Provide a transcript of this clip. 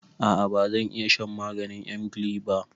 A'a bazan iya shan maganin emgyl ba.